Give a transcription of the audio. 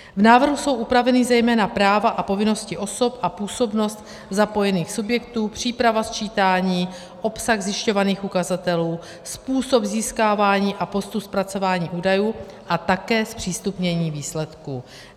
V návrhu jsou upraveny zejména práva a povinnosti osob a působnost zapojených subjektů, příprava sčítání, obsah zjišťovaných ukazatelů, způsob získávání a postu zpracování údajů a také zpřístupnění výsledků.